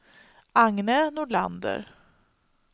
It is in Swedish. Agne Nordlander